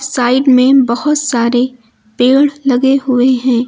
Side में बहोत सारे पेड़ लगे हुए हैं।